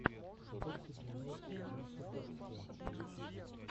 докси дин нот джаст э даксхунд на ютьюбе